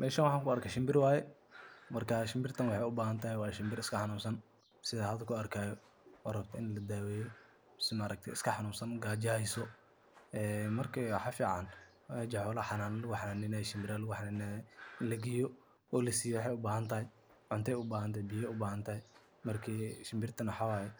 Mishan waxaan ku arkay shinbir waaye. Marka shinbirtan waxay u baahan tahay waa shinbir iska xanuunsan sida hadda ku arkayo oo rabto in la daweeyo mise iska xanuunsan gaajo hayso. Marka maxaa fiican meesha shinbiraha lagu xannaaneeyo in la geeyo oo la siiyo waxay u baahan tahay cunto ama biyaha ay u baahan tahay. Marka shinbirtu maxay